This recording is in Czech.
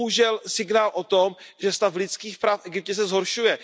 To je bohužel signál o tom, že stav lidských práv v Egyptě se zhoršuje.